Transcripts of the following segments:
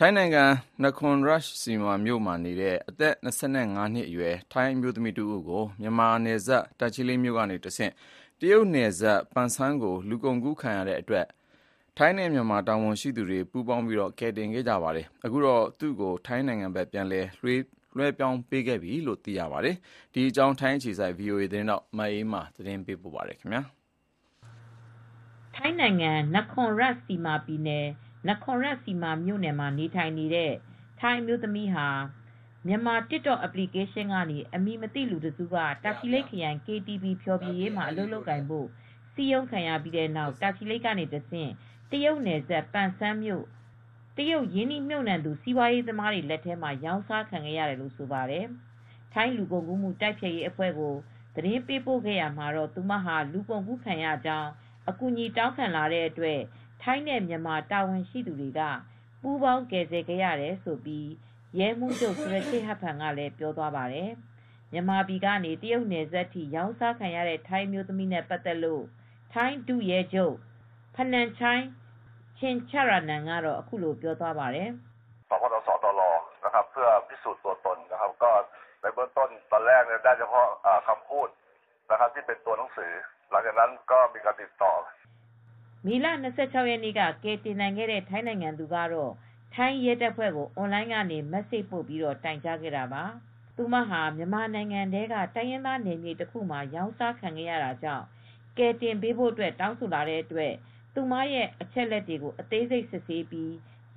ထိုင်းနိုင်ငံ၊ နာခွန်ရတ်ခ်ျစီမာမြို့နေ အသက် ၂၅ နှစ်အရွယ် ထိုင်းအမျိုးသမီးတဦးကို မြန်မာနယ်စပ် တာချီလိတ်မြို့ကတဆင့် တရုတ်နယ်စပ်ပန်ဆန်းဆီ လူကုန်ကူးခံရတဲ့အတွက် ထိုင်းနဲ့မြန်မာ တာဝန်ရှိသူတွေ ပူပေါင်းကယ်တင်ခဲ့ရပါတယ်။ အခုတော့ သူ့ကို ထိုင်းဖက်ကို ပြန်လည်လွှဲပေးလိုက်ပြီလို့လည်း သိရပါတယ်။ ဒီအကြောင်း ထိုင်းအခြေစိုက်သတင်းထောက် မအေးအေးမာ သတင်းပေးပို့ထားပါတယ်။ ထိုင်းနိုင်ငံ၊ နာခွန်ရတ်ခ်ျစီမာပြည်နယ်၊ နာခွန်ရတ်ခ်ျစီမာမြို့မှာနေထိုင်နေတဲ့ ထိုင်းအမျိုးသမီးဟာ မြန်မာ TikTok အပလီကေးရှင်းကနေ အမည်မသိလူတစ်စုက တာချီလိတ်ခရိုင် KTV ဖျော်ဖြေရေးမှာ အလုပ်လုပ်ကိုင်ဖို့ စည်းရုံးခံရပြီးနောက် တာချီလိတ်ကတဆင့် တရုတ်နယ်စပ်၊ ပန်ဆန်းမြို့၊ တရုတ် ရင်းနှီးမြှုပ်နှံသူ စီးပွားရေးသမားတွေလက်ထဲမှာ ရောင်းစားခံရတယ်လို့ဆိုပါတယ်။ ထိုင်းလူကုန်ကူးမှုတိုက်ဖျက်ရေးအဖွဲ့ကိုသတင်းပို့ခဲ့တာကတော့ သူ လူကုန်ကူးခံရကြောင်း အကူအညီ တောင်းခံလာတဲ့အတွက် ထိုင်းနဲ့ မြန်မာတာဝန်ရှိသူတွေ ပူးပေါင်းကယ်ဆယ်ခဲ့ရတယ်လို့ ရဲမှူးချုပ် ဆူရာချေ့ဟတ်ဖန်က ပြောသွားပါတယ်။ မြန်မာပြည်ကနေ တရုတ်နယ်စပ်ထိ ရောင်းစားခံရတဲ့ ထိုင်းအမျိုးသမီးနဲ့ ပတ်သက်လို့ထိုင်း ဒုရဲချုပ် Pananchai Chuenchaitham ဖနမ်ချိုင် ချင့်ချရာနမ် ကတော့အခုလိုပြောသွားပါတယ်။ " မေလ ၂၆ ရက် နေ့က ကယ်တင်နိုင်ခဲ့တဲ့ ထိုင်းနိုင်ငံသူကတော့ ထိုင်းရဲတပ်ဖွဲကို အွန်လိုင်းကနေ မက်ဆေ့စ်ပို့ တိုင်ကြားခဲ့တာပါ " သူဟာ မြန်မာနိုင်ငံထဲက တိုင်းရင်းသား နယ်မြေတခုမှာ ရောင်းစားခံနေရတာကြောင့် ကယ်တင်ပေးဖို့ တောင်းဆိုလာတဲ့အတွက် သူ့ရဲ့အချက်လက်ကို အသေးစိတ်စစ်ဆေးပြီး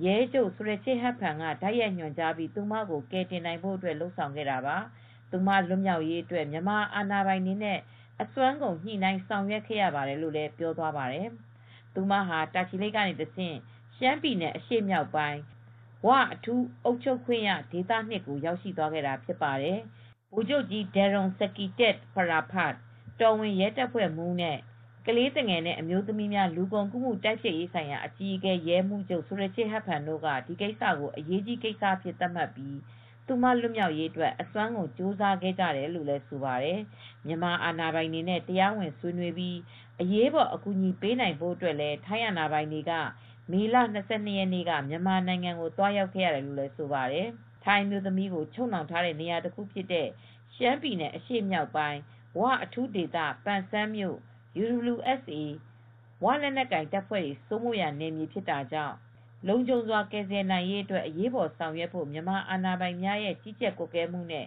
ရဲချုပ်ဆူရချေ့ဟတ်ဖန်က တိုက်ရိုက်ညွန်ကြားပြီး သူ့ကိုကယ်တင်နိုင်ဖို့လုပ်ဆောင်ခဲ့တာပါ။ သူ လွတ်မြောက်ရေးအတွက် မြန်မာအာဏာပိုင်တွေနဲ့ အစွမ်းကုန်ညှိနှိုင်းဆောင်ရွက်ခဲ့ရပါတယ်လို့ပြောသွားပါတယ် ။ သူဟာ တာချီလိတ်ကတဆင့် ရှမ်းပြည်နယ်အရှေ့မြောက်ပိုင်း ‘ဝ’ အထူးအုပ်ချုပ်ခွင့်ရဒေသ ၂ သို့ ရောက်ရှိသွားပါတယ်။ ဗိုလ်ချုပ်ကြီး ဒမ်ရုန်ဆက်ကီတစ် ပရာဖာတ် တော်ဝင်ရဲ တပ်ဖွဲ့မှူး၊ ကလေးနှင့်အမျိုးသမီးများ လူကုန်ကူးမှု တိုက်ဖျက်ရေးဆိုင်ရာအကြီးအကဲ ရဲမှူးချုပ် ဆူရာချေတ် ဟတ်ဖန်တို့က ဒီဖြစ်ရပ်ကိုအရေးကြီးကိစ္စအဖြစ်သတ်မှတ်ပြီး သူလွတ်မြောက်ရေးအတွက် အစွမ်းကုန်ကြိုးစားခဲ့ရတယ်လို့ဆိုပါတယ် ။မြန်မာအာဏာပိုင်တွေနဲ့ တရားဝင်ဆွေးနွေးပြီး အရေးပေါ် အကူအညီပေးနိုင်ဖို့အတွက် ထိုင်းအာဏာပိုင်တွေ မေလ ၂၂ရက်နေ့က မြန်မာနိုင်ငံကိုသွားရောက်ခဲ့တယ်လို့လည်း ပြောဆိုပါတယ် ။ ထိုင်းအမျိုးသမီးကို ချုပ်နှောင် ထားတဲ့ နေရာတခုဖြစ်တဲ့ ရှမ်းပြည်နယ်အရှေ့မြောက်ပိုင်း ‘ဝ’ အထူးဒေသ ပန်ဆန်းမြို့ UWSA နယ်မြေဖြစ်တာကြောင့် လုံခြုံစွာကယ်ဆယ်နိုင်ရေးအတွက် အရေးပေါ် ဆောင်ရွက်ဖို့ မြန်မာ့အာဏာပိုင်များရဲ့ကြီးကြပ်ကွပ်ကဲမှုနဲ့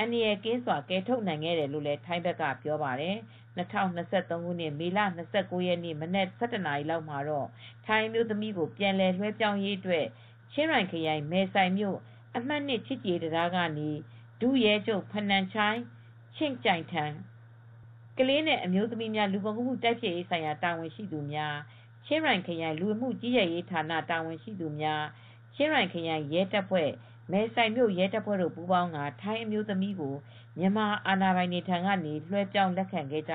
အတူ အန္တရာယ်ကင်းစွာဖြင့် ကယ်ထုတ်နိုင်ခဲ့တယ်လို့ထိုင်းဘက်က ပြောပါတယ် ၂၀၂၃ ခုနှစ် မေလ ၂၉ ရက်နေ့ နံနက် ၁၁ နာရီလောက်မှာတော့ ထိုင်းအမျိုးသမီးကိုပြန်လွဲပြောင်းရေး အတွက် ချင်းရိုင်ခရိုင် မယ်ဆိုင်မြို့ အမှတ် ချစ်ကြည်ရေး တံတားကနေ ဒုရဲချုပ် ဖနန်ချိုင် ချုင့်ကျိုင်ထမ် ကလေးနဲ့ အမျိုးသမီးများ လူကုန်ကူးမှု တိုက်ဖျက်ရေးဆိုင်ရာ တာဝန်ရှိသူများ ချင်းရိုင်ခရိုင် လူဝင်မှုကြီးကြပ်ရေးဌာနတာဝန်ရှိသူ ချင်းရိုင်ခရိုင်ရဲတပ်ဖွဲ့ မယ်ဆိုင် မြို့ ရဲတပ်ဖွဲ့တို့ ပူးပေါင်းကာ ထိုင်းအမျိုးသမီးကို မြန်မာ့အာဏာပိုင် ထံကတဆင့် လွှဲပြောင်းလက်ခံခဲ့ ကြ